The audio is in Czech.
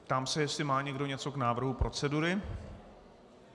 Ptám se, jestli má někdo něco k návrhu procedury.